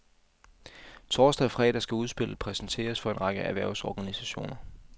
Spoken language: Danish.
Torsdag og fredag skal udspillet præsenteres for en række erhvervsorganisationer.